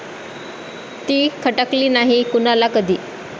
ती खटकली नाही कुणाला कधी.